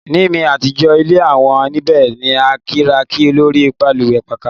Ni mi atijọ ile awọn nibẹ ni a kiraki lori balùwẹ pakà